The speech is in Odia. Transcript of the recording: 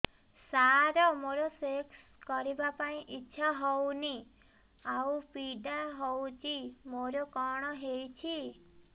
ସାର ମୋର ସେକ୍ସ କରିବା ପାଇଁ ଇଚ୍ଛା ହଉନି ଆଉ ପୀଡା ହଉଚି ମୋର କଣ ହେଇଛି